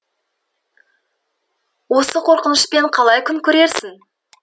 осы қорқынышпен қалай күн көрерсің